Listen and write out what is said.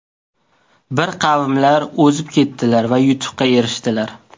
Bir qavmlar o‘zib ketdilar va yutuqqa erishdilar.